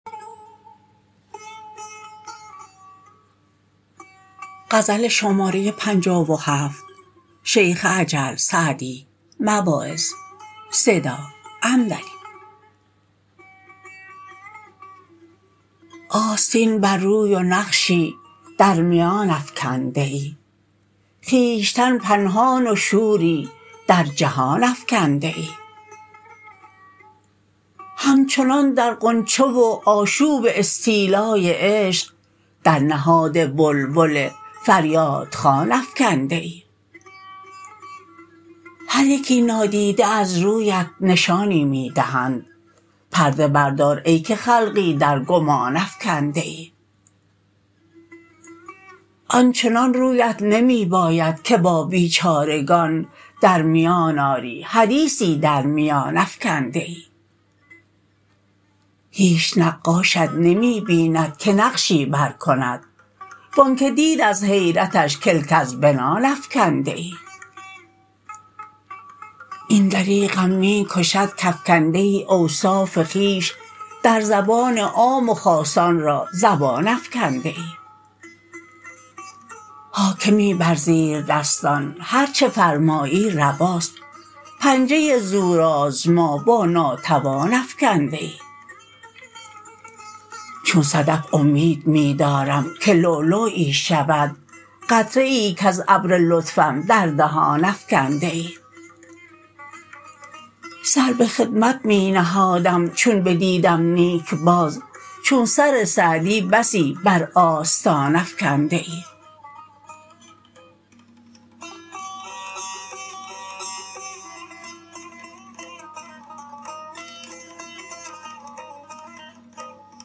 آستین بر روی و نقشی در میان افکنده ای خویشتن پنهان و شوری در جهان افکنده ای همچنان در غنچه و آشوب استیلای عشق در نهاد بلبل فریاد خوان افکنده ای هر یکی نادیده از رویت نشانی می دهند پرده بردار ای که خلقی در گمان افکنده ای آنچنان رویت نمی باید که با بیچارگان در میان آری حدیثی در میان افکنده ای هیچ نقاشت نمی بیند که نقشی بر کند و آنکه دید از حیرتش کلک از بنان افکنده ای این دریغم می کشد کافکنده ای اوصاف خویش در زبان عام و خاصان را زبان افکنده ای حاکمی بر زیردستان هر چه فرمایی رواست پنجه زورآزما با ناتوان افکنده ای چون صدف امید می دارم که لؤلؤیی شود قطره ای کز ابر لطفم در دهان افکنده ای سر به خدمت می نهادم چون بدیدم نیک باز چون سر سعدی بسی بر آستان افکنده ای